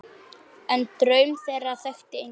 En draum þeirra þekkti enginn.